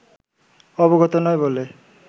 অবগত নয় বলে